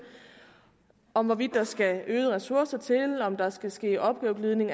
om hvorvidt der skal øgede ressourcer til om der skal ske opgaveglidning